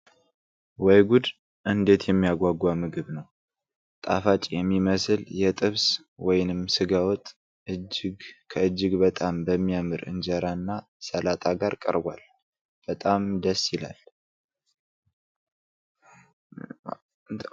ወይ ጉድ! እንዴት የሚያጓጓ ምግብ ነው! ጣፋጭ የሚመስል የጥብስ ወይንም ስጋ ወጥ፣ ከእጅግ በጣም በሚያምር ኢንጀራና ሰላጣ ጋር ቀርቧል! በጣም ደስ ይላል!